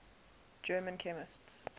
german chemists